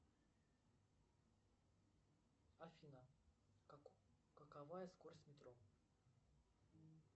афина какова скорость метро